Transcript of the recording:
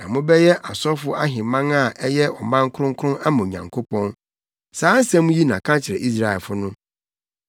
Na mobɛyɛ asɔfo ahemman a ɛyɛ ɔman kronkron ama Onyankopɔn.’ Saa nsɛm yi na ka kyerɛ Israelfo no.”